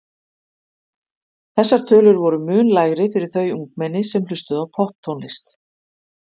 Þessar tölur voru mun lægri fyrir þau ungmenni sem hlustuðu á popptónlist.